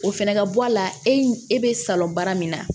O fɛnɛ ka bɔ a la e be salon baara min na